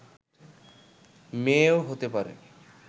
মেয়েও হতে পারে